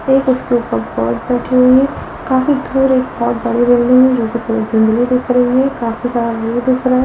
एक उसके ऊपर बर्ड बैठी हुई है काफी दूर एक बहुत बड़ी है धुंधली दिख रही है काफी सारा व्यू दिख रहा है।